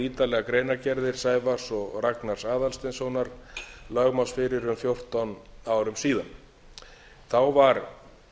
ítarleg greinargerðir sævars og ragnars aðalsteinssonar lögmanns fyrir um fjórtán árum síðan þá var